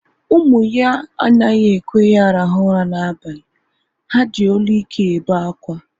Ụmụ ya anaghị ekwe ya rahụ ụra na abalị. Ha ji olu ike ebe akwa